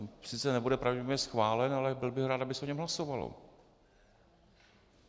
On sice nebude pravděpodobně schválen, ale byl bych rád, aby se o něm hlasovalo.